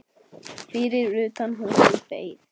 Fyrir utan húsið beið